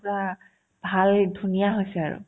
পূৰা ভাল ধুনীয়া হৈছে আৰু